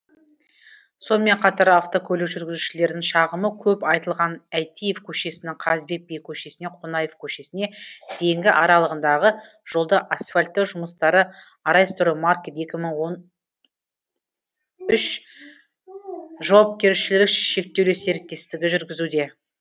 сонымен қатар автокөлік жүргізушілерінің шағымы көп айтылған әйтиев көшесінің қазыбек би көшесінен қонаев көшесіне дейінгі аралығындағы жолды асфальттау жұмыстарын арайстроймаркет екі мың он үш жауапкершілігі шектеулі серіктестігі жүргізуде